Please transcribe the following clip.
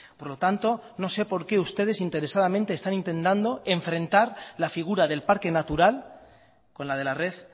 por lo tanto no sé por qué ustedes interesadamente están intentando enfrentar la figura del parque natural con la de la red